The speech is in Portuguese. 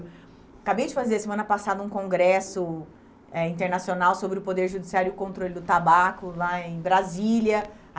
Acabei de fazer, semana passada, um congresso eh internacional sobre o poder judiciário e o controle do tabaco, lá em Brasília.